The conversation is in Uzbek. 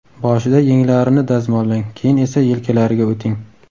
Boshida yenglarini dazmollang, keyin esa yelkalariga o‘ting.